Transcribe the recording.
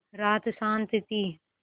रात शान्त थी